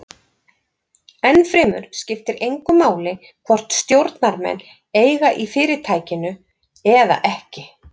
Ennfremur skiptir engu máli hvort stjórnarmenn eiga í fyrirtækinu eða ekki.